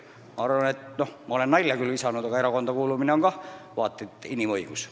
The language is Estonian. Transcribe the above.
Ma arvan – ma olen sellist nalja visanud –, et erakonda kuulumine on vaat et inimõigus.